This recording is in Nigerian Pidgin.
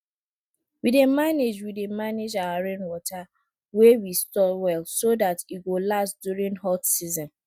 we dey manage we dey manage our rainwater wey we store well so dat e go last during hot season